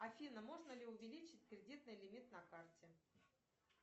афина можно ли увеличить кредитный лимит на карте